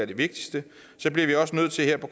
det vigtigste bliver vi også nødt til her på